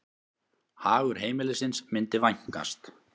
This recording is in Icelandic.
Hagur heimilisins myndi vænkast.